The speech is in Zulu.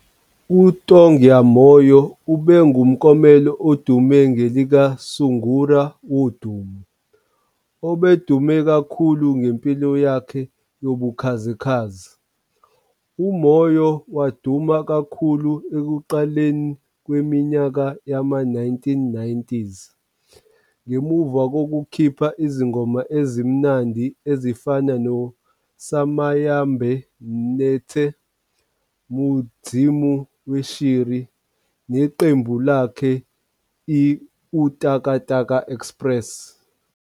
UTongai Moyo ube ngumklomelo odume ngelikaSungura wodumo, obedume kakhulu ngempilo yakhe yobukhazikhazi. UMoyo waduma kakhulu ekuqaleni kweminyaka yama-1990s ngemuva kokukhipha izingoma ezimnandi ezifana no'Samanyemba 'nethi' Mudzimu weshiri 'neqembu lakhe i-Utakataka Express.